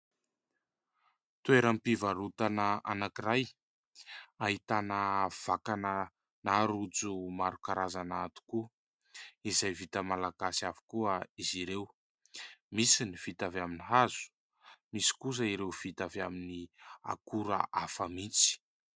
Toeram-pivarotana anankiray ahitana vakana na rojo maro karazana tokoa izay vita Malagasy avokoa izy ireo ; misy ny vita avy amin'ny hazo, misy kosa ireo vita avy amin'ny akora hafa mintsy.